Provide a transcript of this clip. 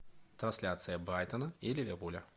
трансляция брайтона и ливерпуля